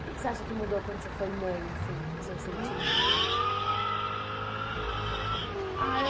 O que é que você acha que mudou quando você foi mãe, assim, no seu sentimento? Ah eu